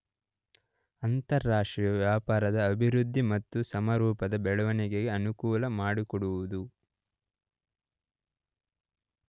ಅಂತಾರಾಷ್ಟ್ರೀಯ ವ್ಯಾಪಾರದ ಅಭಿವೃದ್ಧಿ ಮತ್ತು ಸಮರೂಪದ ಬೆಳವಣಿಗೆಗೆ ಅನುಕೂಲ ಮಾಡಿಕೊಡುವುದು.